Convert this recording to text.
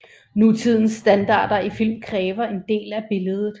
Nutidens standarder i film kræver en del af billedet